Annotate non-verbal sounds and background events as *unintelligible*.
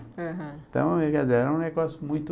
Aham. Então, *unintelligible* é um negócio muito...